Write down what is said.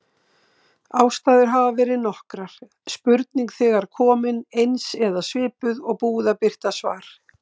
Ástæður hafa verið nokkrar: Spurning þegar komin, eins eða svipuð, og búið að birta svar.